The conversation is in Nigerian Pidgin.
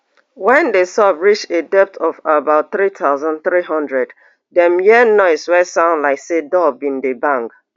wen di sub reach a depth of about three thousand, three hundredm dem hear noise wey sound like say door bin dey bang